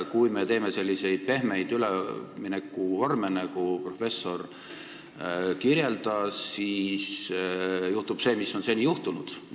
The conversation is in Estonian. Kui me juurutame selliseid pehmeid üleminekuvorme, mida professor kirjeldas, siis juhtub see, mis on seni juhtunud.